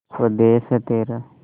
स्वदेस है तेरा